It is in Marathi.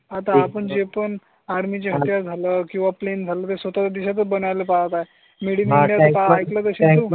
आता आपण जे पण आर्मी झालं किंवा प्लेन झाले ते स्वतः देशात बनायला पाहता मिळाली आहे. पण.